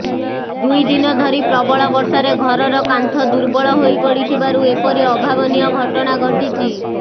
ଦୁଇଦିନ ଧରି ପ୍ରବଳ ବର୍ଷାରେ ଘରର କାନ୍ଥ ଦର୍ବଳ ହୋଇପଡିଥିବାରୁ ଏପରି ଅଭାବନୀୟ ଘଟଣା ଘଟିଛି